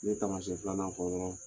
N ye taamasiyɛn filanan fɔ dɔrɔn